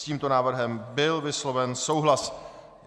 S tímto návrhem byl vysloven souhlas.